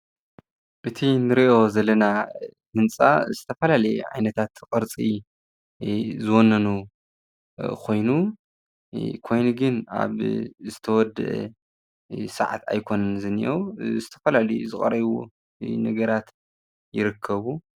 እቲ ንሪኦ ዘለና ህንፃ ዝተፈላለዩ ኢ ዓይነታት ቅርፂ አ ዝወነኑ ኮይኑ ኮይኑ ግን ኣብ ዝተወድአ ስዓት ኣይኮኑን ዝኒአዉ ዝተፈላለዩ ዝቐረዩ ነገራት ይርከቡ፡፡